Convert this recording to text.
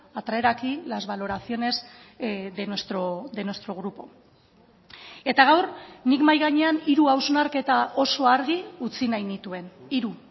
a traer aquí las valoraciones de nuestro grupo eta gaur nik mahai gainean hiru hausnarketa oso argi utzi nahi nituen hiru